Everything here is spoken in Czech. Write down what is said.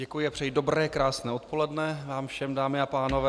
Děkuji a přeji dobré krásné dopoledne vám všem, dámy a pánové.